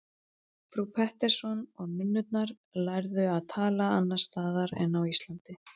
Frú Pettersson og nunnurnar lærðu að tala annars staðar en á Íslandi.